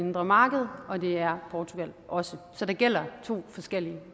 indre marked og det er portugal også så der gælder to forskellige